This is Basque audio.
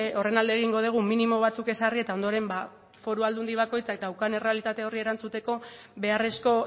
horren alde egingo dugu minimo batzuk ezarri eta ondoren foru aldundi bakoitzak daukan errealitate horri erantzuteko beharrezko